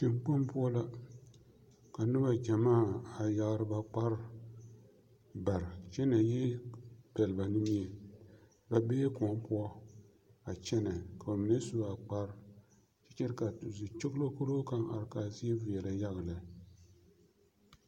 Teŋkpoŋ poɔ la ka nobɔ gyɛmaa a yagre ba kparre bare kyɛ na yi pɛl ba nimie ba bee koɔ poɔ a kyɛnɛ ka ba mine sua kparre kyɛ ka zikyoglokyolo kaŋ are kaa zie veɛlɛ yaga lɛ.